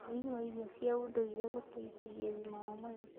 Ũrĩĩ wa irio cia ũndũĩre gũteĩthagĩa ũgima wa mwĩrĩ